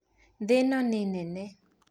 Thĩĩ ĩno nĩ nene